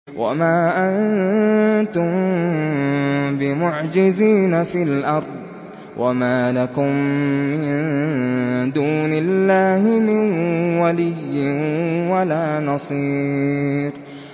وَمَا أَنتُم بِمُعْجِزِينَ فِي الْأَرْضِ ۖ وَمَا لَكُم مِّن دُونِ اللَّهِ مِن وَلِيٍّ وَلَا نَصِيرٍ